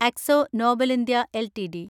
Akzo Nobel India LTD